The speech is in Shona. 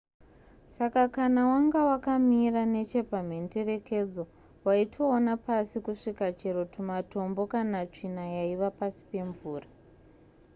saka kana wanga wakamira nechepamhenderekedzo waitoona pasi kusvika chero tumatombo kana tsvina yaiva pasi pemvura